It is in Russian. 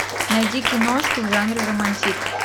найди киношку в жанре романтик